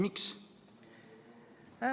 Miks see nii on?